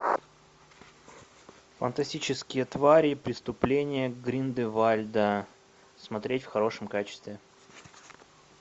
фантастические твари преступление гриндевальда смотреть в хорошем качестве